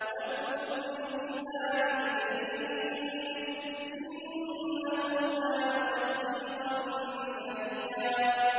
وَاذْكُرْ فِي الْكِتَابِ إِدْرِيسَ ۚ إِنَّهُ كَانَ صِدِّيقًا نَّبِيًّا